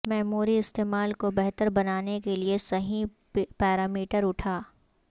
memory استعمال کو بہتر بنانے کے لئے صحیح پیرامیٹر اٹھا